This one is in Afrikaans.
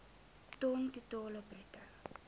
ton totaal bruto